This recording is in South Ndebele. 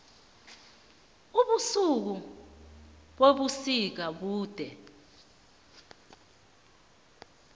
ubusuku bebusika bude